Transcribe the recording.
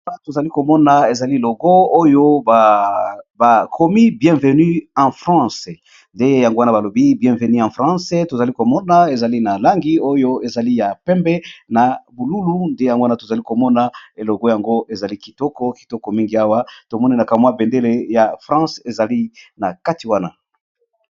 tozali komona ezali logo oyo bakomi bienvenu en france nde yango wana balobi bienveni a france tozali komona ezali na langi oyo ezali ya pembe na bululu nde yango wana tozali komona elogo yango ezali kitoko kitoko mingi awa tomonenaka mwa bendele ya france ezali na kati wana